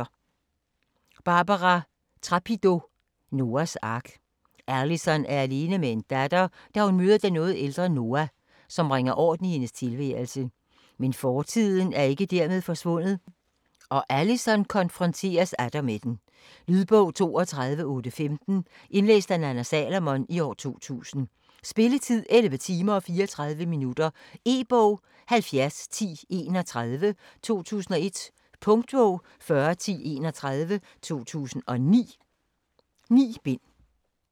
Trapido, Barbara: Noahs ark Alison er alene med en datter, da hun møder den noget ældre Noah, som bringer orden i hendes tilværelse. Men fortiden er ikke dermed forsvundet, og Alison konfronteres atter med den. Lydbog 32815 Indlæst af Nanna Salomon, 2000. Spilletid: 11 timer, 34 minutter. E-bog 701031 2001. Punktbog 401031 2009. 9 bind.